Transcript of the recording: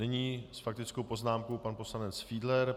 Nyní s faktickou poznámkou pan poslanec Fiedler.